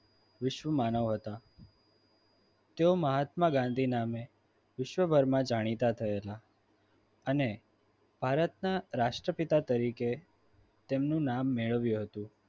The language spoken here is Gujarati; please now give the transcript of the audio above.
વિશ્વ માનવ હતા તેઓ મહાત્મા ગાંધી નામે વિશ્વભરમાં જાણીતા થયેલા અને ભારતના રાષ્ટ્રપિતા તરીકે તેમનું નામ મેળવ્યું હતું.